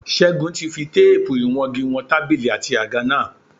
Ṣégun ti fi téèpù ìwọngi wọn tábìlì àti àga náà